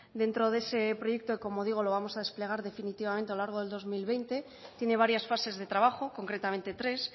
dentro de ese proyecto como digo lo vamos a desplegar definitivamente a largo de dos mil veinte tiene varias fases de trabajo concretamente tres